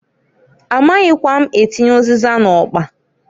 A maghikwa m atinye ụzịza n'ọkpa.